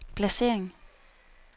placering